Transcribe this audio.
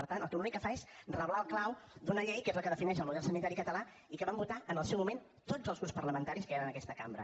per tant l’únic que fa és reblar el clau d’una llei que és la que defineix el model sanitari català i que vam votar en el seu moment tots els grups parlamentaris que hi han en aquesta cambra